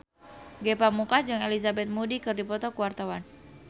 Ge Pamungkas jeung Elizabeth Moody keur dipoto ku wartawan